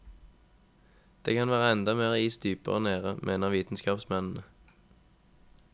Det kan være enda mer is dypere nede, mener vitenskapsmennene.